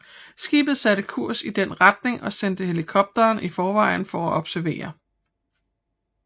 Skibet satte kurs i den retning og sendte helikopteren i forvejen for at observere